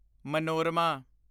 Manorama